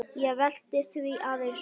Ég velti því aðeins upp.